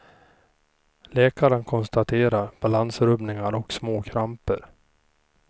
Läkaren konstaterar balansrubbningar och små kramper.